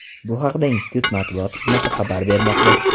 Bu haqda institut matbuot xizmati xabar bermoqda.